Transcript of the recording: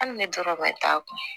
Hali ne dɔrɔn ma t'a kun